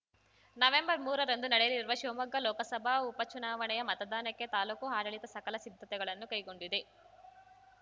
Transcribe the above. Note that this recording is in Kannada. ನವೆಂಬರ್ಮೂರರಂದು ನಡೆಯಲಿರುವ ಶಿವಮೊಗ್ಗ ಲೋಕಸಭಾ ಉಪಚುನಾವಣೆಯ ಮತದಾನಕ್ಕೆ ತಾಲೂಕು ಆಡಳಿತ ಸಕಲ ಸಿದ್ಧತೆಗಳನ್ನು ಕೈಗೊಂಡಿದೆ